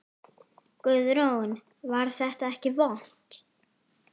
Guðrún: Var þetta ekki vont?